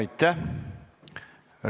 Aitäh!